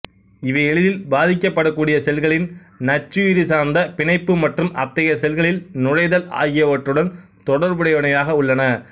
இவை எளிதில் பாதிக்கப்படக்கூடிய செல்களின் நச்சுயிரி சார்ந்த பிணைப்பு மற்றும் அத்தகைய செல்களில் நுழைதல் ஆகியவற்றுடன் தொடர்புடையனவாக உள்ளன